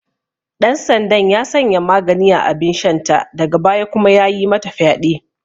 Ɗansandan ya sanya magani a abinshanta daga baya kuma yayi mata fyaɗe.